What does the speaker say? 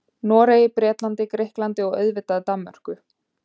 Noregi, Bretlandi, Grikklandi og auðvitað Danmörku.